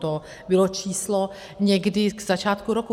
To bylo číslo někdy k začátku roku.